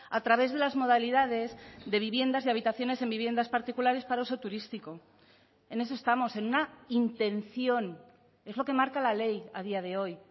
a través de las modalidades de viviendas y habitaciones en viviendas particulares para uso turístico en eso estamos en una intención es lo que marca la ley a día de hoy